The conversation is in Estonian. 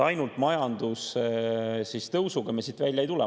Ainult majandustõusuga me siit välja ei tule.